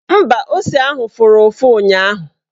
Mba, ose ahụ fụrụ ụfụ ụnyaahụ